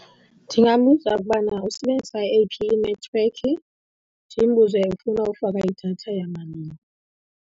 Ndingambuza ukubana usebenzisa eyiphi inethiwekhi, ndimbuze ufuna ufaka idatha yamalini.